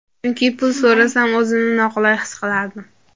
Chunki pul so‘rasam o‘zimni noqulay his qilardim.